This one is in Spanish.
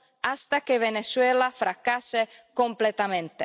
hasta que Venezuela fracase completamente.